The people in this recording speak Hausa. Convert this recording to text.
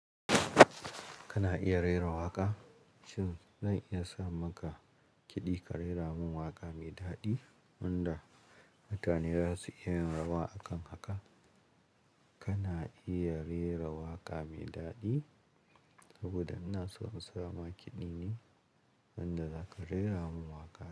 Kana iya rera waƙa? Shin zan iya sa maka kiɗi ka rera min waƙa mai daɗi wanda mutane za su iya yin rawa a kan haka? Kana iya rera waƙa mai daɗi? Saboda ina so in sa maka kiɗi ne wanda za ka rera min waƙa.